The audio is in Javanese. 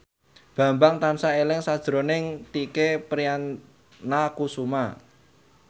Bambang tansah eling sakjroning Tike Priatnakusuma